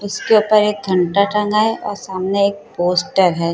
उसके उपर एक घंटा टंगा हैं और सामने एक पोस्टर है।